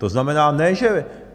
To znamená, ne že...